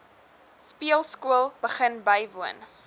speelskool begin bywoon